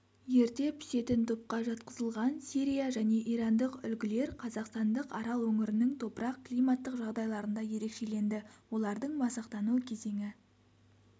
ерте пісетін топқа жатқызылған сирия және ирандық үлгілер қазақстандық арал өңірінің топырақ-климаттық жағдайларында ерекшеленді олардың масақтану кезеңі